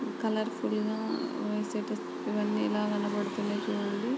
Colourful గా వేసినట్టు ఇవన్నీ ఇలా కనిపిస్తున్న చూడండి.